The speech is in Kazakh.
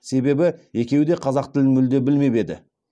себебі екеуі де қазақ тілін мүлде білмеп еді